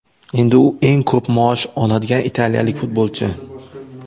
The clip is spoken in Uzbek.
Endi u eng ko‘p maosh oladigan italiyalik futbolchi.